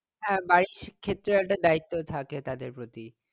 হ্যাঁ বাড়ির ক্ষেত্রেও একটা দায়িত্ত্ব থাকে তাদের প্রতি